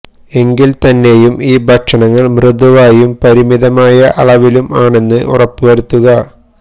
എങ്കിൽ തന്നെയും ഈ ഭക്ഷണങ്ങൾ മൃദുവായും പരിമിതമായ അളവിലും ആണെന്ന് ഉറപ്പുവരുത്തുക